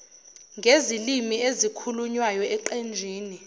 ngezilimi ezikhulunywayo eqenjini